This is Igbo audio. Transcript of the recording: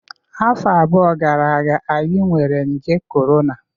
Afọ abụọ gara aga, anyị nwere nje corona